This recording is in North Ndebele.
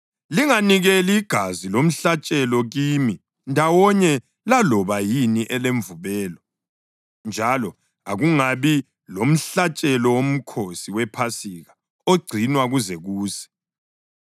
Linganikeli igazi lomhlatshelo kimi ndawonye laloba yini elemvubelo, njalo akungabi lomhlatshelo woMkhosi wePhasika ogcinwa kuze kuse.